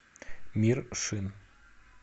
мир шин